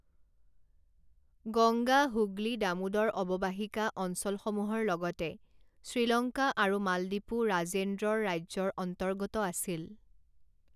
গঙ্গা হুগলী দামোদৰ অববাহিকা অঞ্চলসমূহৰ লগতে শ্ৰীলংকা আৰু মালদ্বীপো ৰাজেন্দ্ৰৰ ৰাজ্যৰ অন্তৰ্গত আছিল।